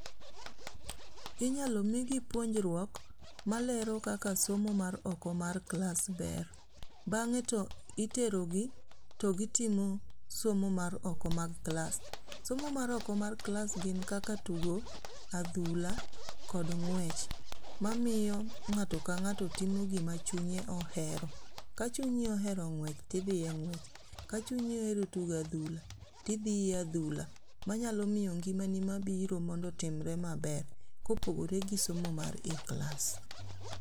Inyalo migi puonjruok malero kaka somo mar oko mar klas ber, bange to iterogi to gitimo somo mar oko mag klas, somo mar oko mar klas gin kaka tugo adhula kod ng'wech mamiyo ng'ato ka ng'ato timo gima chunye ohero, ka chunyi ohero ngwech tithie ngwech, ka chunyi ohero tugo adhula tithie adhula manyaloo miyo ngimani mabiro otimre maber kopogore gi somo manie klas